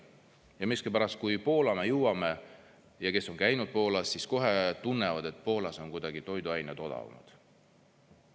Ja miskipärast, kui me Poola jõuame, kes on käinud Poolas, siis kohe tunnevad, et Poolas on kuidagi toiduained odavamad.